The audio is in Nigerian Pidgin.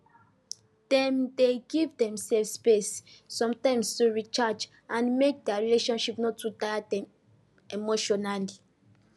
dem dey give themselves space sometimes to recharge and make their relationship no too tire them emotionally